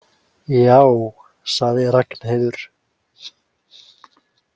Já, sagði Ragnheiður.